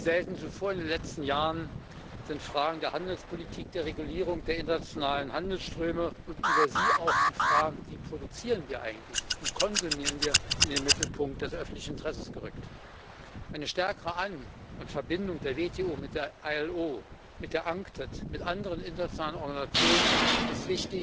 Wie selten zuvor in den letzten Jahren sind Fragen der Handelspolitik, der Regulierung der internationalen Handelsströme und über sie auch die Fragen, wie produzieren wir eigentlich, wie konsumieren wir, in den Mittelpunkt des öffentlichen Interesses gerückt. Eine stärkere An und Verbindung der WTO mit der IAO, mit der UNCTAD mit anderen internationalen Organisationen ist,